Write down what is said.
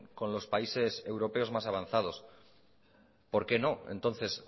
con los países europeos más avanzados por qué no entonces